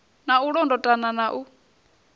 na u londotana na u